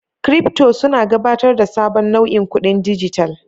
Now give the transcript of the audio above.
Kiripto suna gabatar da sabon nau'in kudin dijital.